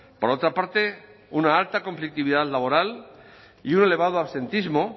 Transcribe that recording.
por otra parte una alta conflictividad laboral y un elevado absentismo